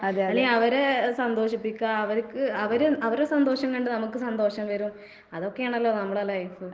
അല്ലെങ്കി അവരെ സന്തോഷിപ്പിക്കുക അവര്ക്ക് അവര് അവർടെ സന്തോഷം കണ്ട് നമക്ക് സന്തോഷം വരും. അതൊക്കെയാണല്ലോ നമ്മടെ ലൈഫ്.